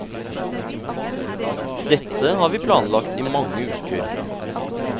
Dette har vi planlagt i mange uker.